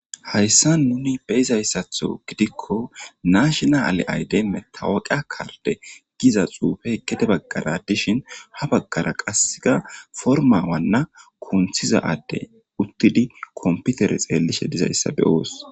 Hayisan nuni beizayisato gidikko nashinale ayide metawuka karide giza xuffe gede bagara dishshin ha bagara qasika porimiya wana kuntiza adde utidi konpitere xelishe dizayisa beos.